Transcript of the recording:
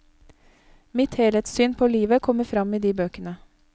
Mitt helhetssyn på livet kommer frem i de bøkene.